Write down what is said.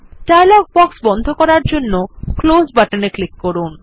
dialogue box বন্ধ করার জন্য ক্লোজ বাটনে ক্লিক করুন